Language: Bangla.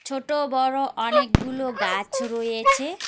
ছোটো বড় অনেকগুলো গাছ রয়েছে।